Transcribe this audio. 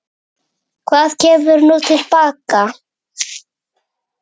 Hvað kemur nú til baka?